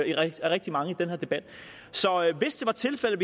rigtig mange på i den her debat hvis det var tilfældet